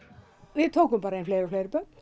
við tókum bara fleiri og fleiri börn